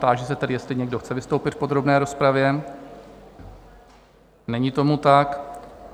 Táži se tedy, jestli někdo chce vystoupit v podrobné rozpravě: Není tomu tak.